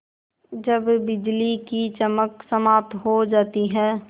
जब बिजली की चमक समाप्त हो जाती है